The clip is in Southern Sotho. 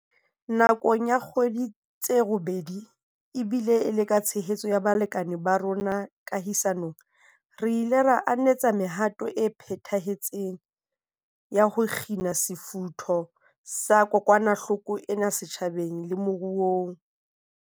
Nakong ya dikgwedi tse robedi, ebile e le ka tshehetso ya balekane ba rona kahisa nong, re ile ra anetsa mehato e phethahetseng ya ho kgina sefutho sa kokwanahloko ena setjhabeng le moruong.